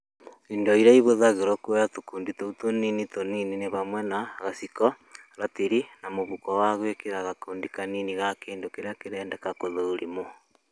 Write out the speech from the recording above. Indo iria ihũthagĩrwo kũoya tũkundi tũu tũnini tũnini nĩ hamwe na: gaciko, ratiri na mũhuko wa gwĩkĩrwo gakundi kanini ga kĩndũ kĩrĩa kĩrendeka gũthũrimwo.